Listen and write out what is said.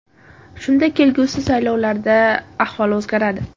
Shunda kelgusi saylovlarda ahvol o‘zgaradi.